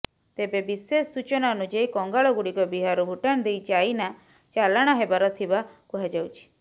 ତେବେ ବିଶେଷ ସୂଚନା ଅନୁଯାୟୀ କଙ୍ଗାଳ ଗୁଡିକ ବିହାରରୁ ଭୁଟାନ ଦେଇ ଚାଇନା ଚାଲାଣ ହେବାର ଥିବା କୁହାଯାଉଛି